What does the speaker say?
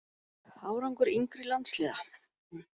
Árangur yngri landsliða?